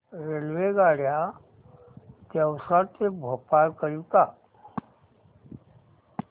रेल्वेगाड्या देवास ते भोपाळ करीता